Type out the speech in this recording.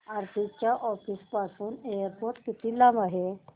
आरती च्या ऑफिस पासून एअरपोर्ट किती लांब आहे